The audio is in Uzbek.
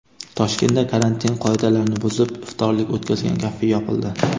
Toshkentda karantin qoidalarini buzib, iftorlik o‘tkazgan kafe yopildi.